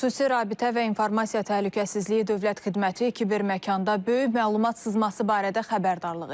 Xüsusi rabitə və informasiya təhlükəsizliyi dövlət xidməti kiberməkanda böyük məlumat sızması barədə xəbərdarlıq edib.